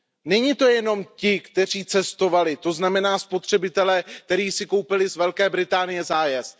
Nejsou to jenom ti, kteří cestovali, to znamená spotřebitelé, kteří si koupili z Velké Británie zájezd.